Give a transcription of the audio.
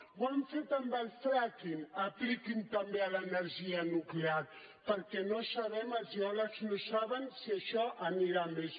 ho han fet amb el fracking apliquin lo també a l’energia nuclear perquè no sabem els geòlegs no ho saben si això anirà a més